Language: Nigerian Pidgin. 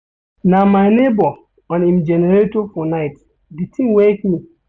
Na my nebor on im generator for night, di tin wake me.